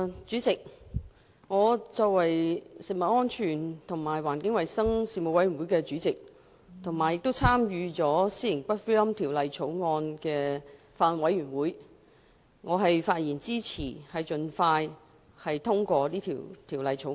主席，我以食物安全及環境衞生事務委員會主席，以及《私營骨灰安置所條例草案》委員會委員的身份，發言支持盡快通過《私營骨灰安置所條例草案》。